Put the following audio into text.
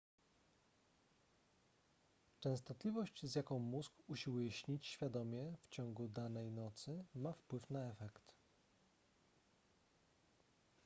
częstotliwość z jaką mózg usiłuje śnić świadomie w ciągu danej nocy ma wpływ na efekt